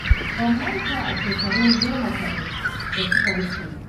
Ban manta a shekaru goma kaɗai da suka wuce ba.